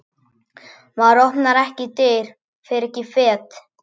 Maður opnar ekki dyr, fer ekki fet.